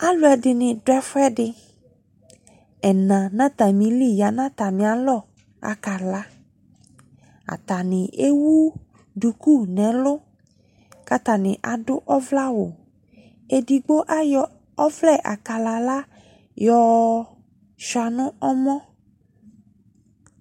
Aluɛdene do ɛfuɛdeƐna na atame li ya nɔ atame alɔ, aka laAtane ewu duku no ɛlu, ka atane ado ɔvlɛ awu Edigbo ayɔ ɔvlɛ akalala yɔ sua no ɔmɔ